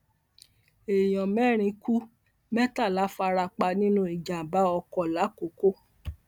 èèyàn mẹrin kú mẹtàlá fara pa nínú ìjàmbá ọkọ làkòkò